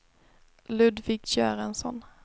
Ludvig Göransson